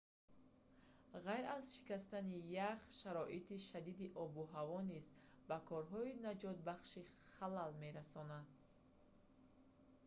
ғайр аз шикастани ях шароити шадиди обу ҳаво низ ба корҳои наҷотбахшӣ халал мерасонанд